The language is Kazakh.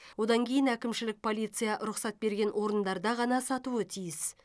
одан кейін әкімшілік полиция рұқсат берген орындарда ғана сатуы тиіс